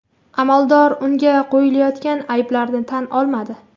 Amaldor unga qo‘yilayotgan ayblarni tan olmadi.